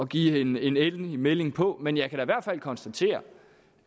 give en endelig melding på men jeg kan da i hvert fald konstatere